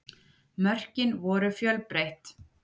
Mörkin voru fjölbreytt